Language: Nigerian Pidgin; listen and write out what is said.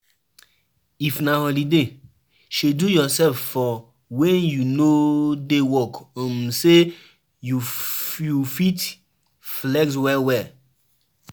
If na holiday, schedule yourself for when you no dey work um so say you you fit flex well well